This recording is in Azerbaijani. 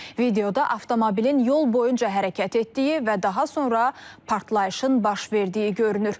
Videoda avtomobilin yol boyunca hərəkət etdiyi və daha sonra partlayışın baş verdiyi görünür.